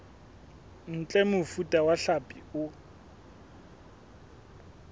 ntle mofuta wa hlapi o